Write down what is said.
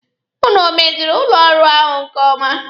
Ụnụ o meziri ụlọ ọrụ ahụ nke ọma?